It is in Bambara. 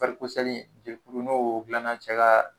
dilanna ca ka